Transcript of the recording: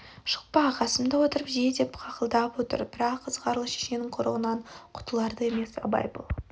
шықпа қасымда отырып же деп қақылдап отыр бірақ ызғарлы шешенің құрығынан құтылар да емес абай бұл